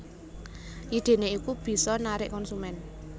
Idene iku bisa narik konsumen